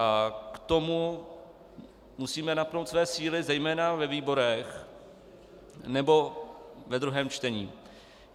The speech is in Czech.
A k tomu musíme napnout své síly zejména ve výborech nebo ve druhém čtení.